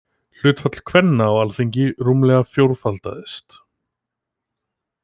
Hlutfall kvenna á Alþingi rúmlega fjórfaldaðist.